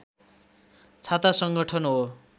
छाता सङ्गठन हो